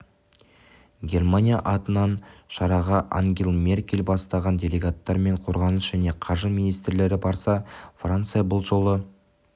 германия атынан шараға ангела меркель бастаған делегаттар мен қорғаныс және қаржы министрлері барса франция бұл жолы